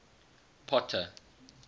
potter